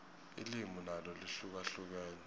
ilimi nalo lihlukahlukene